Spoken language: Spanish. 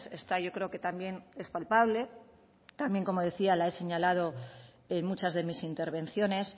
esta yo creo que también es palpable también como decía la he señalado en muchas de mis intervenciones